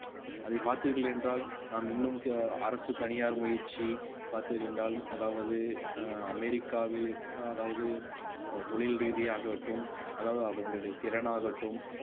அதை பார்த்தீர்கள் என்றால் நாம் இன்னும் அரசு தனியார் முயற்சி பார்த்தீர்கள் என்றால் அதாவது அஹ் அமெரிக்காவில் அதாவது அஹ் தொழில் ரீதியாகட்டும் அதாவது அதனுடைய திறனாகட்டும்